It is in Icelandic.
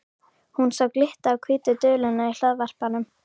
Hún sá glitta á hvítu duluna í hlaðvarpanum.